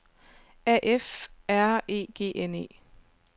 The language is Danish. A F R E G N E